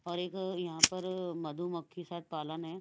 और एक अ यहां पर अ मधुमक्खी शायद पालन है।